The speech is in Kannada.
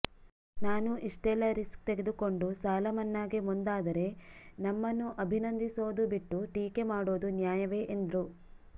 ನಾನು ಇಷ್ಟೆಲ್ಲಾ ರಿಸ್ಕ್ ತೆಗೆದುಕೊಂಡು ಸಾಲ ಮನ್ನಾಗೆ ಮುಂದಾದರೆ ನಮ್ಮನ್ನು ಅಭಿನಂದಿಸೋದು ಬಿಟ್ಟು ಟೀಕೆ ಮಾಡೋದು ನ್ಯಾಯವೇ ಎಂದ್ರು